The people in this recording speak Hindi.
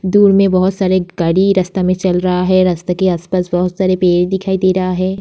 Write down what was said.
दूर में बहुत सारा गाड़ी रास्ते में चल रहा है। रास्ते के आसपास में बहुत सारा पेड़ दिखाई दे रहा है।